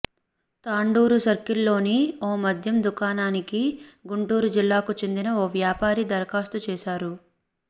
తాండూరు సర్కిల్లోని ఓ మద్యం దుకాణానికి గుంటూరు జిల్లాకు చెందిన ఓ వ్యాపారి దరఖాస్తు చేశారు